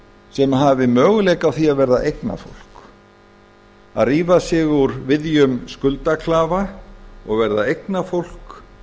sem hafi möguleika á því að verða eignafólk að rífa sig úr viðjum skuldaklafa og verða eignafólk